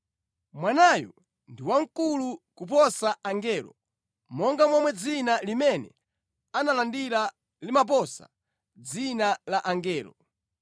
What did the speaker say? Mwanayu ndi wamkulu koposa angelo, monga momwe dzina limene analandira limaposa dzina la angelo.